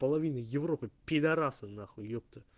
половина европы пидарасы нахуй епта